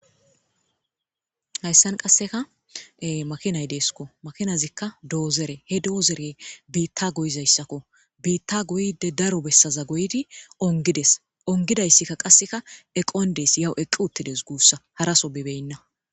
Hayssan qasseka ee makinay deskko. Makinazikka doozore ,he doozore biitta goyizayssakko . Biitta goyidde daro bessaza goyidi onggidees. Onggidayssikka qassekka eqqon dees yaw eqqi uttidees guussa hara so bibeena.